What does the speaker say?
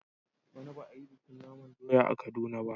Bana ba a yi bikin naman doya a Kaduna ba.